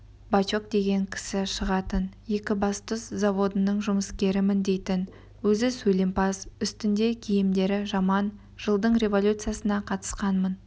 бачок деген кісі шығатын екібастұз заводының жұмыскерімін дейтін өзі сөйлемпаз үстінде киімдері жаман жылдың революциясына қатысқанмын